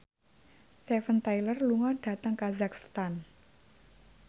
Steven Tyler lunga dhateng kazakhstan